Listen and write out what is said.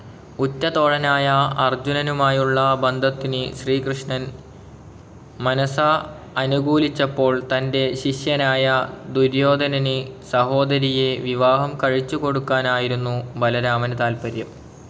ഉറ്റതോഴനായ അർജ്ജുനനുമായുള്ള ബന്ധത്തിന് ശ്രീകൃഷ്ണൻ മനസാ അനുകൂലിച്ചപ്പോൾ തൻറെ ശിഷ്യനായ ദുര്യോധനന് സഹോദരിയെ വിവാഹം കഴിച്ചുകൊടുക്കാനായിരുന്നു ബലരാമന് താല്പര്യം.